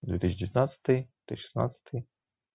две тысячи девятнадцатый две тысячи шестнадцатый